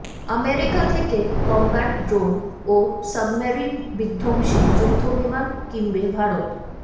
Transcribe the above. America থেকে combat drone ও submarine বিধ্বংসী যুদ্ধবিমান কিনবে ভারত